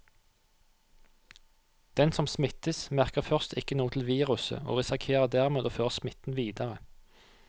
Den som smittes, merker først ikke noe til viruset og risikerer dermed å føre smitten videre.